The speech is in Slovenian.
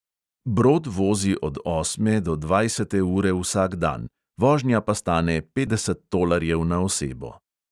Brod vozi od osme do dvajsete ure vsak dan, vožnja pa stane petdeset tolarjev na osebo.